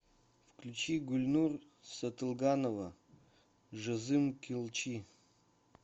включи гульнур сатылганова жазым келчи